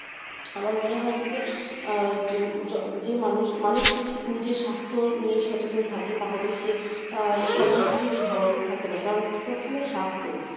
আমার মনে হয় কি যে আহ যে ~ যে মানুষ মানুষ যদি নিজের স্বাস্থ্য নিয়ে সচেতন থাকে তাহলে সে আহ সবদিক থেকে ভালো থাকতে পারে কারণ প্রথমে স্বাস্থ্য,